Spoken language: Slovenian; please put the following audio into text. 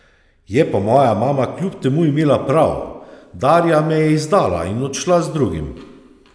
Je pa moja mama kljub temu imela prav, Darja me je izdala in odšla z drugim.